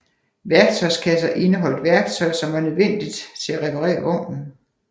Værktøjskasser indeholdt værktøj som var nødvendigt til at reparere vognen